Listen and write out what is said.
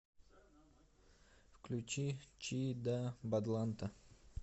включи чи да бадланта